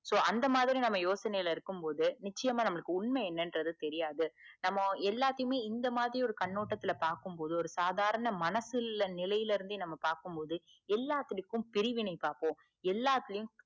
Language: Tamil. so அந்த மாதிரி நம்ப யோசனை ல இருக்கும் போதுநிச்சயமா நம்மளுக்கு உண்மை என்னேகுறது தெரியாது நாம் எல்லாத்தையுமே இந்த ஒரு கண்ணோட்டத்துல பாக்கும்போது ஒரு சாதாரண மனசுல் நிலைல இருந்து பாக்கும் போது எல்லா புடிபும் பிரிவினை பாப்போம் எல்லாத்திலையும்